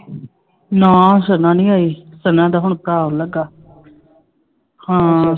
ਨਾ ਸਨਾ ਨੀ ਆਈ ਸਨਾ ਦਾ ਹੁਣ ਲੱਗਾ ਹਾਂ